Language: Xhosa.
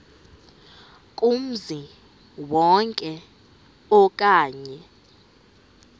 kumzi wonke okanye